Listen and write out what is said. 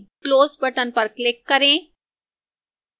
close button पर click करें